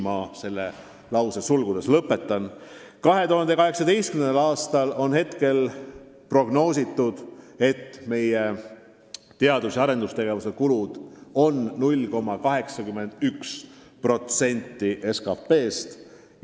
Praegu on prognoositud, et 2018. aastal on meie teadus- ja arendustegevuse kulud 0,81% SKT-st.